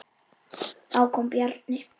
Þá kom Bjarni.